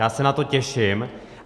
Já se na to těším.